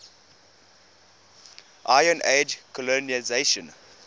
iron age colonisation